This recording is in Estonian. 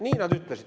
Nii nad ütlesid.